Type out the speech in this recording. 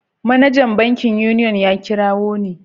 Manajan bankin Union ya kirawo ni.